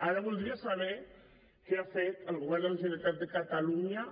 ara voldria saber què ha fet el govern de la generalitat de catalunya